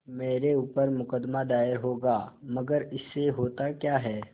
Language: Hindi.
मेरे ऊपर मुकदमा दायर होगा मगर इससे होता क्या है